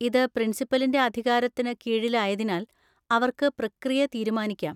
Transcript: ഇത് പ്രിൻസിപ്പലിന്‍റെ അധികാരത്തിന് കീഴിലായതിനാൽ, അവർക്ക് പ്രക്രിയ തീരുമാനിക്കാം.